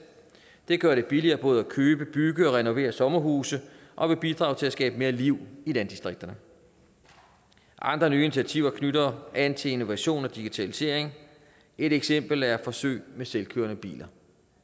det gør det billigere både at købe bygge og renovere sommerhuse og vil bidrage til at skabe mere liv i landdistrikterne andre nye initiativer knytter an til innovation og digitalisering et eksempel er forsøg med selvkørende biler